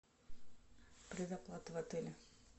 предоплата в отеле